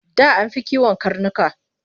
Da an fi kiwon karnuka.